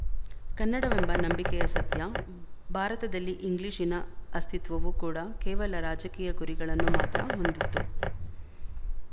ಕನ್ನಡವೆಂಬ ನಂಬಿಕೆಯ ಸತ್ಯ ಭಾರತದಲ್ಲಿ ಇಂಗ್ಲಿಶಿನ ಅಸ್ತಿತ್ವವು ಕೂಡ ಕೇವಲ ರಾಜಕೀಯ ಗುರಿಗಳನ್ನು ಮಾತ್ರ ಹೊಂದಿತ್ತು